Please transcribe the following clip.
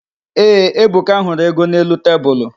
Ee, Ebuka hụrụ ego n'elu tebulu.